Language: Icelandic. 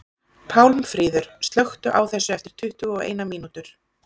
Pálmfríður, slökktu á þessu eftir tuttugu og eina mínútur.